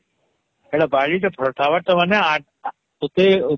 ହେଟା ବାଡ଼ି ଟା ଫଡତବର ମାନେ ତତେ